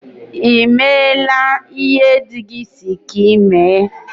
Ị meela ihe dị gị si gị mee?